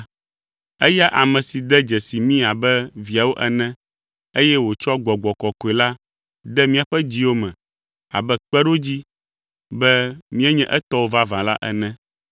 Eya ame si de dzesi mí abe viawo ene eye wòtsɔ Gbɔgbɔ Kɔkɔe la de míaƒe dziwo me abe kpeɖodzi be míenye etɔwo vavã la ene.